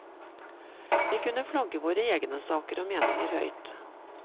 Vi kunne flagge våre egne saker og meninger høyt.